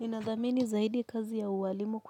Ninathamini zaidi kazi ya ualimu